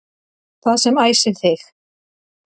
Það sem æsir þig